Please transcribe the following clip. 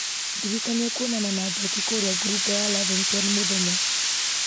ndirikania kwonana na njoki kũrĩa ngurunga ya lavington mũthenya